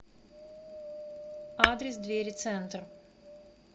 адрес двери центр